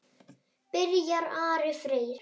Byrjar Ari Freyr?